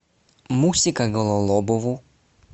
мусика гололобову